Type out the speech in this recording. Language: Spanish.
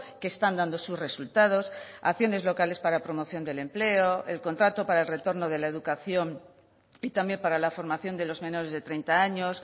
que están dando sus resultados acciones locales para promoción del empleo el contrato para el retorno de la educación y también para la formación de los menores de treinta años